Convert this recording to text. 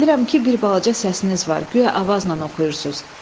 Bilirəm ki, bir balaca səsiniz var, guya avazla oxuyursunuz.